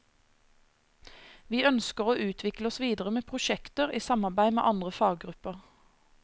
Vi ønsker å utvikle oss videre med prosjekter i samarbeid med andre faggrupper.